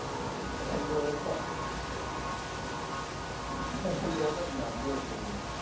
ரெண்டு வருஷம் ரெண்டு வருஷம் அதுக்கு நான் அப்படியே வச்சிருக்கணும்.